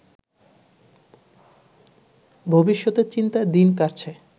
ভবিষ্যতের চিন্তায় দিন কাটছে